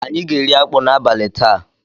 Anyị ga-eri akpu n'abalị taa.